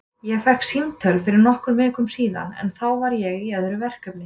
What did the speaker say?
Ég fékk símtöl fyrir nokkrum vikum síðan en þá var ég í öðru verkefni.